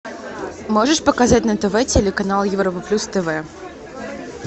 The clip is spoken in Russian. можешь показать на тв телеканал европа плюс тв